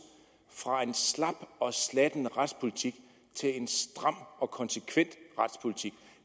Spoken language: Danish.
fra en slap og slatten retspolitik til en stram og konsekvent retspolitik